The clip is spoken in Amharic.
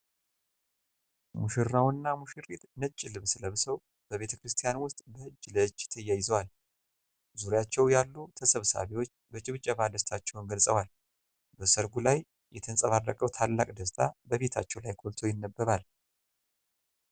ሙሽራውና ሙሽሪት ነጭ ልብስ ለብሰው በቤተ ክርስቲያን ውስጥ በእጅ ለእጅ ተያይዘዋል። ዙሪያቸው ያሉ ተሰብሳቢዎች በጭብጨባ ደስታቸውን ገልጸዋል። በሠርጉ ላይ የተንጸባረቀው ታላቅ ደስታ በፊታቸው ላይ ጎልቶ ይነበባል።